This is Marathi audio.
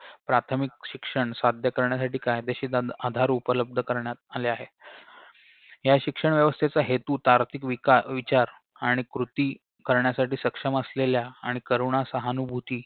प्राथमिक शिक्षण साध्य करण्यासाठी कायदेशीर तदा आधार उपलब्ध करण्यात आले आहे या शिक्षण व्यवस्थेचा हेतू तार्किक विकार विचार आणि कृती करण्यासाठी सक्षम असलेल्या आणि करुणासहानुभूती